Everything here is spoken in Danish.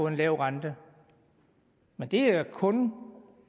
en lav rente men det er kun